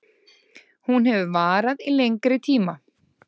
Hún hefur varað í lengri tíma